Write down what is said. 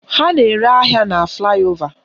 Ha na-ere ahịa na flaị ova